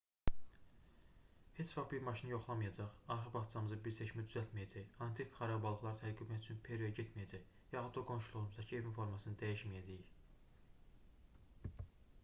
heç vaxt bir maşını yoxlamayacaq arxa bağçamıza bir çeşmə düzəltməyəcək antik xarabalıqları tədqiq etmək üçün peruya getməyəcək yaxud da qonşuluğumuzdakı evin formasını dəyişməyəcəyik